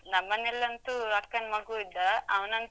ನಮ್ಮನೆಯಲ್ಲಂತೂ ಅಕ್ಕನ್ ಮಗು ಇದ್ದ. ಅವನಂತೂ.